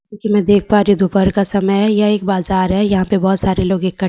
क्युकी मैं देख पा रही हूँ दोपहर का समय है यह एक बाजार है यहाँ पे बोहोत सारे लोग इकट्ठे हुए हैं यहाँ पे --